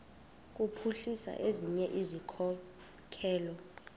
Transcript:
kuphuhlisa ezinye izikhokelo